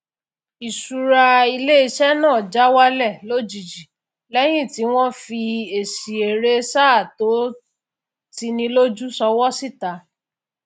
ìṣúra iléiṣẹ náà já wálẹ lójijì lẹyìn tí wọn fi èsì èrè sáà tó tini lójú sọwọ síta